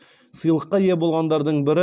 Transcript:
сыйлыққа ие болғандардың бірі